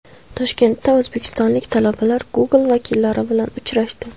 Toshkentda o‘zbekistonlik talabalar Google vakillari bilan uchrashdi.